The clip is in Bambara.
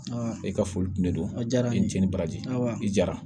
e ka foli kun de don a jara n ye n cɛ ni baraji i jara